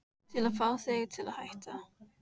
Til að fá þig til að hætta.